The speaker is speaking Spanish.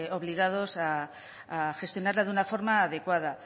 obligados a gestionarla de una forma adecuada